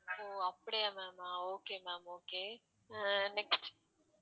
ஓ அப்படியா ma'am ஆ okay ma'am okay அ next